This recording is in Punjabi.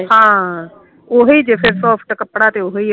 ਹਾਂ ਓਹੀ ਜੇ ਸੋਫਤ ਕੱਪੜਾ ਤੇ ਓਹੀ ਆ